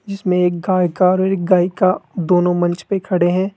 जिसमें एक गायका और एक गायिका दोनों मंच पे खड़े हैं।